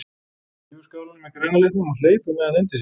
Hún þrífur skálina með græna litnum og hleypur með hana inn til sín.